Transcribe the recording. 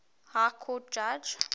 high court judge